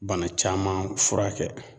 Bana caman furakɛ